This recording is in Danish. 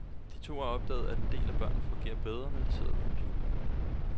De to har opdaget, at en del af børnene fungerer bedre, når de sidder ved computeren.